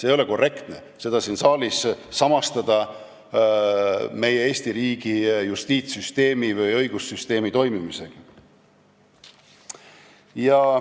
Ei ole korrektne seda siin saalis samastada Eesti riigi justiitssüsteemi või õigussüsteemi toimimisega.